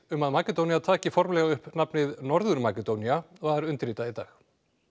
um að Makedónía taki formlega upp nafnið Norður Makedónía var undirritað í dag